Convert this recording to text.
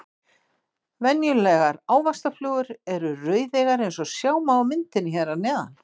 Venjulegar ávaxtaflugur eru rauðeygðar eins og sjá má á myndinni hér að neðan.